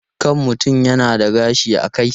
Kan mutum yana da gashi a kai.